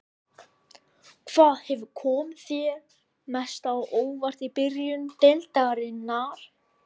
Hvað hefur komið þér mest á óvart í byrjun deildarinnar?